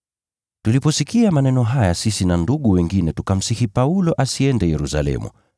Tuliposikia maneno haya sisi na ndugu wengine tukamsihi Paulo asiende Yerusalemu.